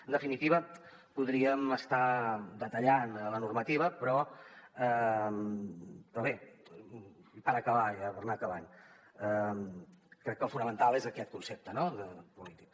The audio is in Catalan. en definitiva podríem estar detallant la normativa però bé per acabar ja per anar acabant crec que el fonamental és aquest concepte no polític